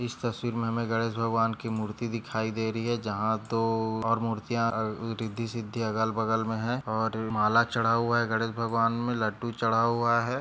इस तस्वीर मे हमे गणेश भगवान की मूर्ति दिखाई दे रही है जहा दो और मूर्तियाँ अं रिद्धी-सिद्धि अगल बगल मे है और माला चढ़ा हुआ है गणेश भगवान मे लड्डू चढ़ा हुआ है।